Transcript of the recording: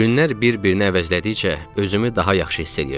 Günlər bir-birini əvəzlədikcə özümü daha yaxşı hiss eləyirdim.